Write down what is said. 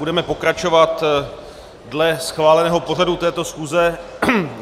Budeme pokračovat dle schváleného pořadu této schůze.